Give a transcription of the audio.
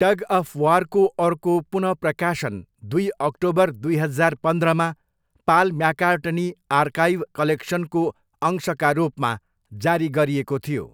Tug of वारको अर्को पुन प्रकाशन दुई अक्टोबर दुई हजार पन्ध्रमा, पाल म्याकार्टनी आर्काइभ कलेक्सनको अंशका रूपमा जारी गरिएको थियो।